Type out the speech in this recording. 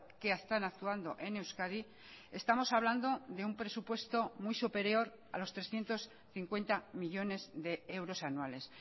que están actuando en euskadi estamos hablando de un presupuesto muy superior a los trescientos cincuenta millónes de euros anuales